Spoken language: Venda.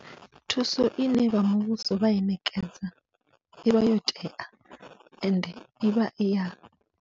Thuso ine vha muvhuso vha i ṋekedza, ivha yo tea ende ivha iya.